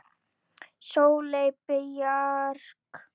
Sóley Björk